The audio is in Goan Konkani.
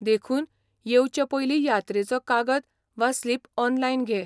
देखून, येवचे पयलीं यात्रेचो कागद वा स्लिप ऑनलायन घे.